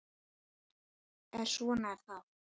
En svona er það.